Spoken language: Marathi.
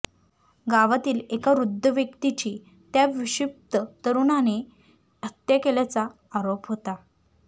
गावातील एका वृद्ध व्यक्तीची त्या विक्षिप्त तरुणाने हत्या केल्याचा आरोप होता